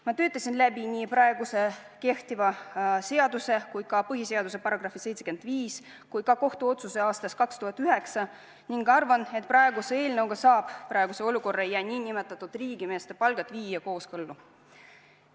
Ma töötasin läbi nii kehtiva seaduse, põhiseaduse § 75 kui ka kohtuotsuse aastast 2009 ning arvan, et eelnõuga saab praeguse olukorra ja nn riigimeeste palgad viia kooskõlla.